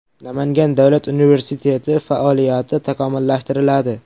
Namangan davlat universiteti faoliyati takomillashtiriladi.